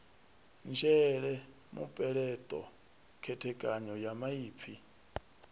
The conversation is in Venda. nzhele mupeleṱo khethekanyo ya maipfi